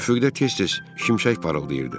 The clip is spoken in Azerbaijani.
Üfüqdə tez-tez şimşək parıldayırdı.